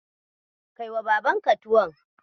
Kaiwa babanka tuwon.